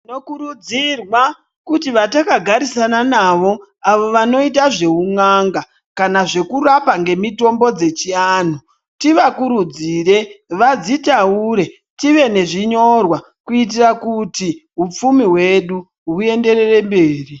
Tinokurudzirwa kuti vatakagarisana navo avo vanoita zveun'anga, kana zvekurapa ngemitombo dzechiantu. Tivakurudzire vadzitaure tive nezvinyorwa kuitira kuti hupfumi hwedu huenderere mberi.